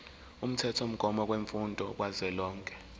umthethomgomo wemfundo kazwelonke